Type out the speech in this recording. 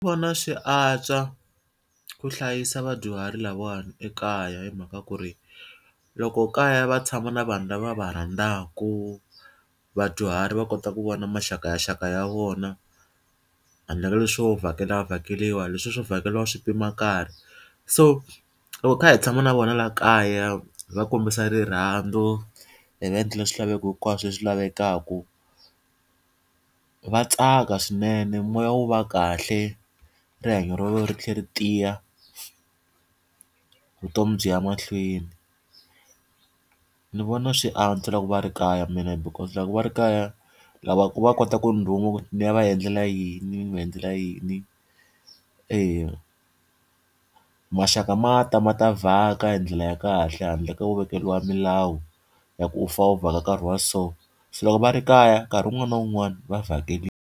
Vona swi antswa ku hlayisa vadyuhari lavawani ekaya hi mhaka ku ri, loko kaya va tshama na vanhu lava va rhandzaka, vadyuhari va kota ku vona maxaka ya ya vona handle ka leswo vhakela vhakeriwa, leswiya swo vhakeriwa swi pima nkarhi. So loko hi kha hi tshama na vona laha kaya hi va kombisa rirhandzu hi va endlela swilaveko hinkwaswo leswi lavekaka, va tsaka swinene moya wu va kahle, rihanyo ra vona ri tlhela ri tiya vutomi byi ya mahlweni. Ndzi vona swi antswa loko va ri kaya mina because loko va ri kaya, lava ku va kotaku ndzi rhuma ndzi ya va endlela yini ndzi n'wi endlela yini. E, maxaka ma ta ma ta vhaka hi ndlela ya kahle handle ka ku vekeriwa milawu ya ku u fanele u vhaka nkarhi wa so. Se loko va ri kaya, nkarhi wun'wani na wun'wani va vhakeriwa.